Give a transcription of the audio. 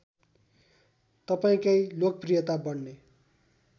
तपाईँकै लोकप्रियता बढ्ने